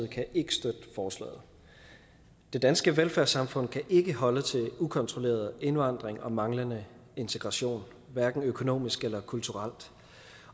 kan ikke støtte forslaget det danske velfærdssamfund kan ikke holde til ukontrolleret indvandring og manglende integration hverken økonomisk eller kulturelt